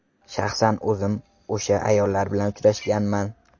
Shaxsan o‘zim o‘sha ayollar bilan uchrashganman.